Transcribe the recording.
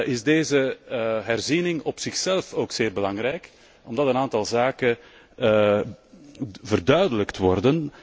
is deze herziening op zichzelf ook zeer belangrijk, omdat een aantal zaken verduidelijkt wordt.